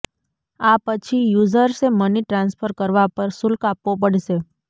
આ પછી યૂઝર્સે મની ટ્રાન્સફર કરવા પર શુલ્ક આપવો પડશે